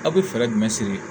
Aw bɛ fɛɛrɛ jumɛn sigi